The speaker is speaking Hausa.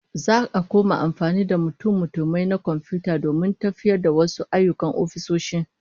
Za'a koma amfani da mutummutumai na komfiyuta domin tafiyar da wasu ayyukan ofisoshi